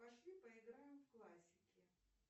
пошли поиграем в классики